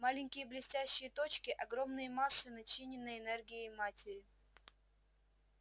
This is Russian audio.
маленькие блестящие точки огромные массы начиненной энергией материи